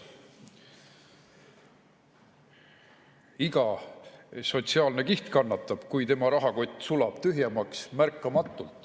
Iga sotsiaalne kiht kannatab, kui tema rahakott sulab märkamatult tühjemaks.